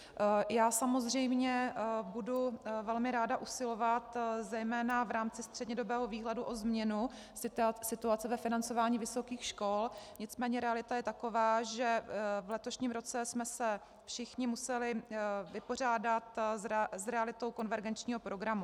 Já samozřejmě budu velmi ráda usilovat zejména v rámci střednědobého výhledu o změnu situace ve financování vysokých škol, nicméně realita je taková, že v letošním roce jsme se všichni museli vypořádat s realitou konvergenčního programu.